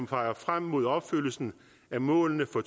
peger frem mod opfyldelsen af målene for